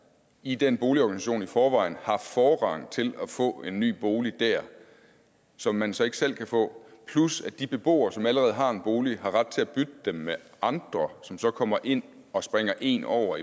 i den boligorganisation i forvejen har forrang til at få en ny bolig der som man så ikke selv kan få plus at de beboere som allerede har en bolig har ret til at bytte den med andre som så kommer ind og springer en over